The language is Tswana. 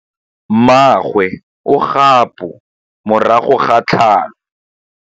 Mmagwe o kgapô morago ga tlhalô.